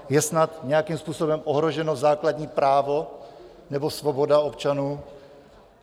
Je snad nějakým způsobem ohroženo základní právo nebo svoboda občanů?